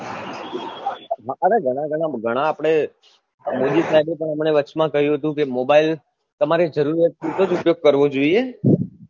અરે ઘણા ઘણા ઘણા આપડે મોદી શાહેબ એ આપને વચમાં કહ્યું હતું કે mobile તમારે જરૂરત પુરતો જ ઉપયોગ કરવો જોઈએ